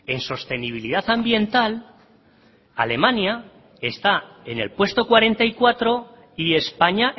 en sostenibilidad ambiental alemania está en el puesto cuarenta y cuatro y españa